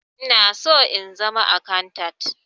Ina son in zama akantant.